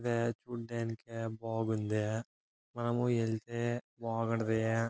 బాగుంది. మనము వెళ్తే బాగుంటది.